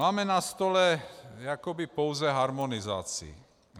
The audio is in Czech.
Máme na stole jakoby pouze harmonizaci.